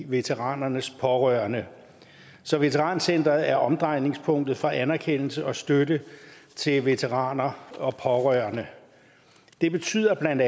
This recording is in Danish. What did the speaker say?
veteranernes pårørende så veterancenteret er omdrejningspunktet for anerkendelse og støtte til veteraner og pårørende det betyder